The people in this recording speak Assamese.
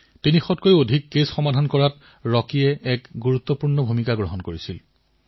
ৰকীয়ে ৩০০ত কৈও অধিক গোচৰ নিষ্পত্তি কৰাত আৰক্ষীক সহায় কৰিছিল